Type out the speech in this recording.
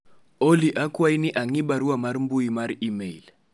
Olly akwayi ni ang'i barua mar mbui mar email